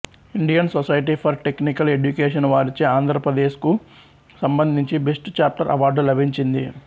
Indian society for technical education వారిచే ఆంధ్రప్రదేశ్ కు సంబంధించి బెస్ట్ చాప్టర్ అవార్డు లభించింది